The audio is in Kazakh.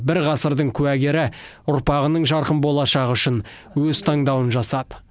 бір ғасырдың куәгері ұрпағының жарқын болашағы үшін өз таңдауын жасады